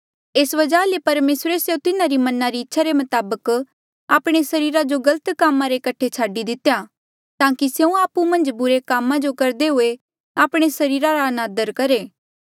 एस वजहा ले परमेसरे स्यों तिन्हारी मना री इच्छा रे मताबक आपणे सरीरा जो गलत कामा रे कठे छाडी दितेया ताकि स्यों आपु मन्झ बुरे कामा जो करदे हुए आपणे सरीरा रा अनादर करहे